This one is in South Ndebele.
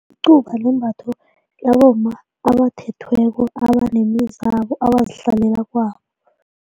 Icuba limbatho labomma abathethweko abanemizabo abazihlalela kwabo.